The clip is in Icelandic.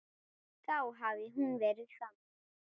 Þá hefði hún verið þannig